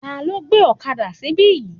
Tani ó gbé ọ̀kadà síbí?